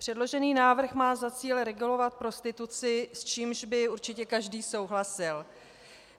Předložený návrh má za cíl regulovat prostituci, s čímž by určitě každý souhlasil.